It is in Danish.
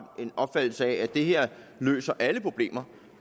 den opfattelse at det her løser alle problemer